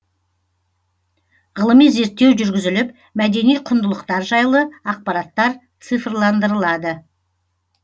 ғылыми зерттеу жүргізіліп мәдени құндылықтар жайлы ақпараттар цифрландырылады